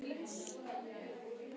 Telma: Tilfinningar, Tryggvi?